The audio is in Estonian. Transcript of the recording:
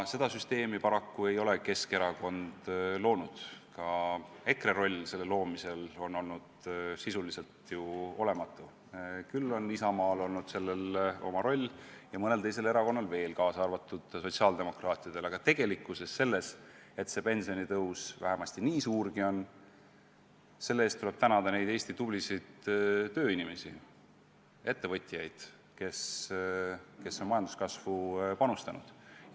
Seda süsteemi ei ole paraku Keskerakond loonud, ka EKRE roll selle loomisel on sisuliselt olematu, küll on Isamaal olnud selles oma roll ja mõnel teisel erakonnal veel, kaasa arvatud sotsiaaldemokraatidel, aga tegelikult tuleb selle eest, et see pensionitõus vähemasti nii suurgi on, tänada neid Eesti tublisid tööinimesi ja ettevõtjaid, kes on majanduskasvu panustanud.